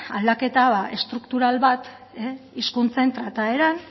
aldaketa estruktural bat hizkuntzen trataeran